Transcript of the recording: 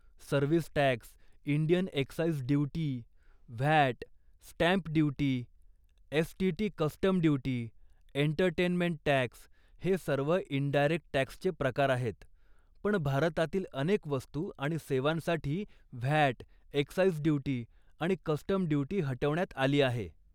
Service tax, Indian excise duty, VAT, stamp duty, STT. Custom duty, entertainment टॅक्स...हे सर्व indirect टॅक्सचे प्रकार आहेत, पण भारतातील अनेक वस्तू आणि सेवांसाठी व्हॅट, एक्साईज ड्युटी आणि कस्टम ड्युटी हटवण्यात आली आहे.